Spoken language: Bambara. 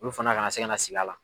Olu fana ka na se ka na sigi a la.